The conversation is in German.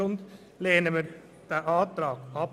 Also lehnen wir diesen Antrag ab.